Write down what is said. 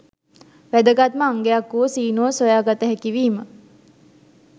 වැදගත්ම අංගයක් වූ සීනුව සොයාගත හැකිවීම